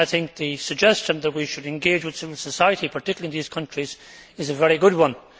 The suggestion that we should engage with civil society, particularly in these countries, is a very good one.